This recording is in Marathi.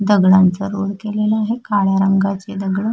दगडांचा रोल केलेला आहे काळ्या रंगाचे दगड--